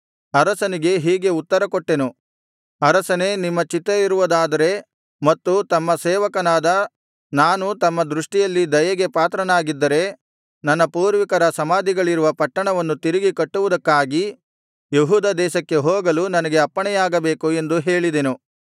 ಅರಸನಿಗೆ ಹೀಗೆ ಉತ್ತರಕೊಟ್ಟೆನು ಅರಸನೇ ನಿಮ್ಮ ಚಿತ್ತವಿರುವುದಾದರೆ ಮತ್ತು ತಮ್ಮ ಸೇವಕನಾದ ನಾನು ತಮ್ಮ ದೃಷ್ಟಿಯಲ್ಲಿ ದಯೆಗೆ ಪಾತ್ರನಾಗಿದ್ದರೆ ನನ್ನ ಪೂರ್ವಿಕರ ಸಮಾಧಿಗಳಿರುವ ಪಟ್ಟಣವನ್ನು ತಿರುಗಿ ಕಟ್ಟುವುದಕ್ಕಾಗಿ ಯೆಹೂದ ದೇಶಕ್ಕೆ ಹೋಗಲು ನನಗೆ ಅಪ್ಪಣೆಯಾಗಬೇಕು ಎಂದು ಹೇಳಿದೆನು